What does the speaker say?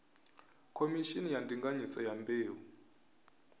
khomishini ya ndinganyiso ya mbeu